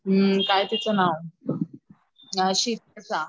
काय तीच नाव शीतल चा